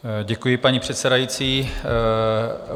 Děkuji, paní předsedající.